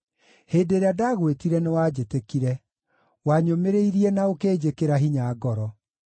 Hĩndĩ ĩrĩa ndagwĩtire, nĩwanjĩtĩkire; wanyũmĩrĩirie na ũkĩnjĩkĩra hinya ngoro.